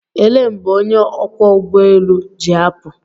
Elee mgbe onye ọkwọ ụgbọelu ji apụ?